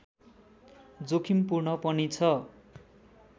जोखिमपूर्ण पनि छ